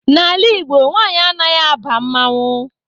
N'ala Igbo, nwanyị anaghị aba mmanwụ.